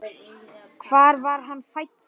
Fanginn vakti mestan áhuga þeirra.